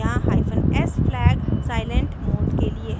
यहाँ hyphen s flag silent mode के लिए है